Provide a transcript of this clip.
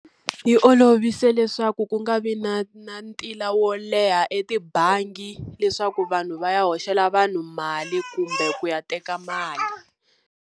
Yi olovise leswaku ku nga vi na na ntila wo leha etibangi, leswaku vanhu va ya hoxela vanhu mali kumbe ku ya teka mali.